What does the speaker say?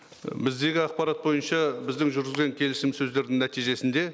і біздегі ақпарат бойынша біздің жүргізген келісімсөздердің нәтижесінде